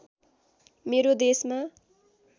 मेरो देशमा